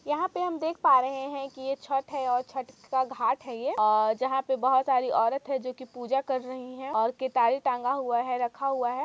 यहां पे हम देख पा रहे हैं कि यह छठ है और छठ का घाट है ये और जहां पर बहुत सारी औरत है जो की पूजा कर रही है और के तारे टांगा हुआ है रखा हुआ है।